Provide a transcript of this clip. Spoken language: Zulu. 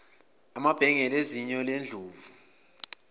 amabhengele ezinyo lendlovu